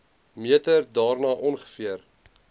meter daarna ongeveer